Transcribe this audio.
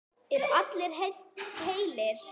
Eru allir heilir?